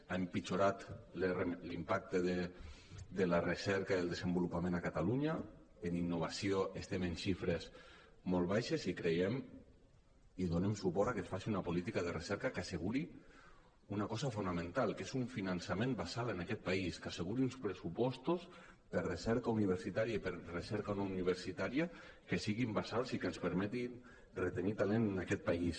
ha empitjorat l’impacte de la recerca i el desenvolupament a catalunya en innova·ció estem en xifres molt baixes i donem suport a que es faci una política de recerca que asseguri una cosa fonamental que és un finançament basal en aquest país que asseguri uns pressupostos per a recerca universitària i per a recerca no universitària que siguin basals i que ens permetin retenir talent en aquest país